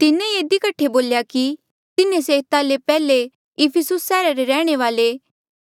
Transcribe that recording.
तिन्हें ये इधी कठे बोल्या की तिन्हें से एता ले पैहले इफिसुस सैहरा रे रैहणे वाले